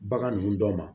Bagan ninnu dɔ ma